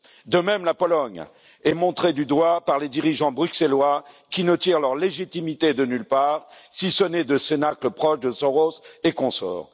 Quand la Pologne est montrée du doigt par les dirigeants bruxellois, qui ne tirent leur légitimité de nulle part, si ce n'est de cénacles proches de Soros et consorts?